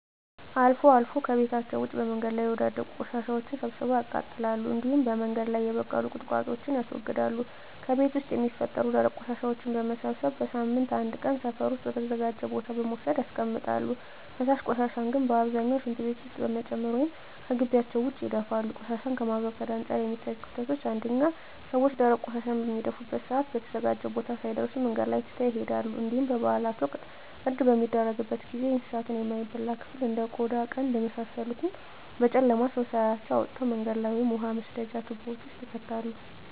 አልፎ አልፎ ከቤታቸዉ ውጭ በመንገድ ላይ የወዳደቁ ቆሻሻወችን ሰብስበው ያቃጥላሉ እንዲሁም በመንገድ ላይ የበቀሉ ቁጥቋጦወችን ያስወግዳሉ። ከቤት ውስጥ የሚፈጠሩ ደረቅ ቆሻሻወችን በመሰብሰብ በሳምንት አንድ ቀን ሰፈር ውስጥ ወደ ተዘጋጀ ቦታ በመውሰድ ያስቀምጣሉ። ፈሳሽ ቆሻሻን ግን በአብዛኛው ሽንት ቤት ውስጥ በመጨመር ወይም ከጊቢያቸው ውጭ ይደፋሉ። ቆሻሻን ከማስወገድ አንፃር የሚታዩት ክፍተቶች አንደኛ ሰወች ደረቅ ቆሻሻን በሚደፉበት ሰአት በተዘጋጀው ቦታ ሳይደርሱ መንገድ ላይ ትተው ይሄዳሉ እንዲሁም በበአላት ወቅት እርድ በሚደረግበት ጊዜ የእንሳቱን የማይበላ ክፍል እንደ ቆዳ ቀንድ የመሳሰሉትን በጨለማ ሰው ሳያያቸው አውጥተው መንገድ ላይ ወይም የውሃ መስደጃ ትቦወች ውስጥ ይከታሉ።